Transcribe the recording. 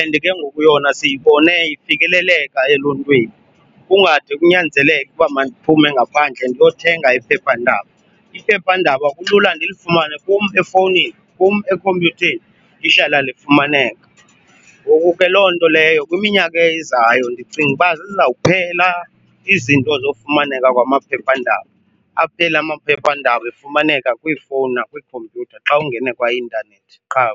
and ke ngoku yona siyibone ifikeleleka eluntwini, kungade kunyanzeleke uba mandiphume ngaphandle ndiyothenga iphephandaba. Iphephandaba kulula ndilifumane kum efowunini, kum ekhompyutheni, lihlala lifumaneka. Ngoku ke loo nto leyo kwiminyaka ezayo ndicinga uba zizawuphela izinto zofumaneka kwamaphephandaba, aphele amaphephandaba efumaneka kwiifowuni nakwiikhompyutha xa ungene kwaintanethi qha.